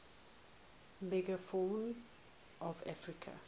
megafauna of africa